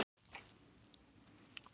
Þið ættuð barasta að vita það.